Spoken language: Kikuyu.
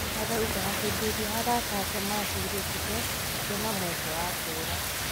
Arauga hĩndĩ ĩrĩa arata ake mahurũkĩte akĩona mweke wa kũra